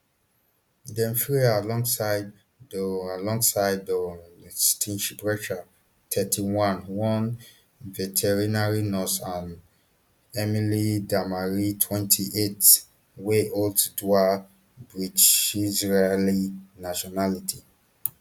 dem free her alongside doron alongside doron steinbrecher thirty-one one veterinary nurse and emily damari twenty-eight wey holds dual britishisraeli nationality